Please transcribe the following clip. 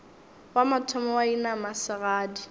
wa mathomo wa inama segadi